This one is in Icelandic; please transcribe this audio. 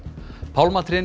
pálmatrén